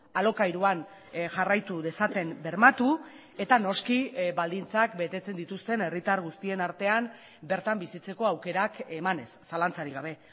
alokairuan jarraitu dezaten bermatu eta noski baldintzak betetzen dituzten herritar guztien artean bertan bizitzeko aukerak emanez zalantzarik gabe